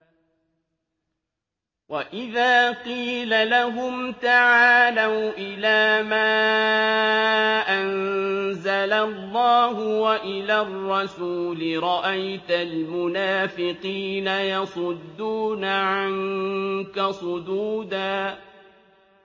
وَإِذَا قِيلَ لَهُمْ تَعَالَوْا إِلَىٰ مَا أَنزَلَ اللَّهُ وَإِلَى الرَّسُولِ رَأَيْتَ الْمُنَافِقِينَ يَصُدُّونَ عَنكَ صُدُودًا